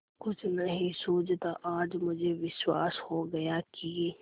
कुछ नहीं सूझता आज मुझे विश्वास हो गया कि